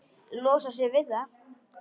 Losar sig við það.